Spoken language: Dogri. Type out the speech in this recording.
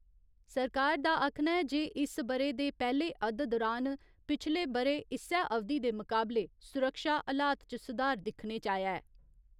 सरकार दा आक्खना ऐ जे इस्स बरे दे पैह्‌ले अद्द दौरान, पिछले बरे इस्सै अवधि दे मुकाबले, सुरक्षा हलात च सुधार दिक्खने च आया ऐ।